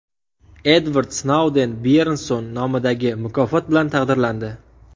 Edvard Snouden Byernson nomidagi mukofot bilan taqdirlandi.